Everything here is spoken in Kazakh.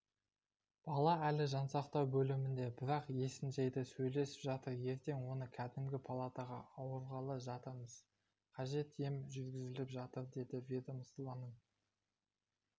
бала әлі жансақтау бөлімінде бірақ есін жиды сөйлесіп жатыр ертең оны кәдімгі палатаға ауырғалы жатырмыз қажет ем жүргізіліп жатыр деді ведомствоның